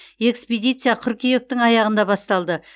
экспедиция қыркүйектің аяғында басталды